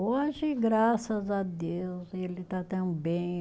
Hoje, graças a Deus, ele está tão bem.